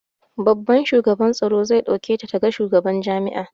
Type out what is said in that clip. Babban shugaban tsaro zai ɗauke ta ta ga shugaban jami'a